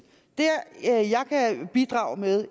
det jeg kan bidrage med